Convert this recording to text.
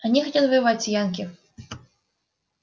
они хотят воевать с янки